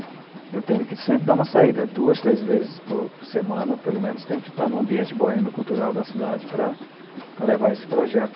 Eu tenho que sempre dar uma saída, duas, três vezes por semana, pelo menos tenho que estar no ambiente boêmio cultural da cidade para levar esse projeto.